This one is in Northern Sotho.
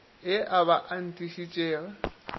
e a b ba itišitše